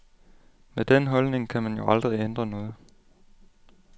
Med den holdning kan man jo aldrig ændre noget.